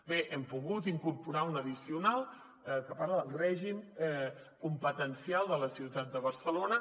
bé hem pogut incorporar una addicional que parla del règim competencial de la ciutat de barcelona